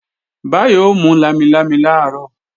Báyọ̀ ó mú lámilámi làárọ̀